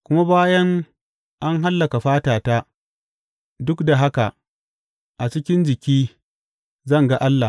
Kuma bayan an hallaka fatata, duk da haka a cikin jiki zan ga Allah.